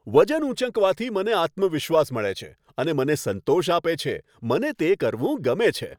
વજન ઊંચકવાથી મને આત્મવિશ્વાસ મળે છે અને મને સંતોષ આપે છે. મને તે કરવું ગમે છે.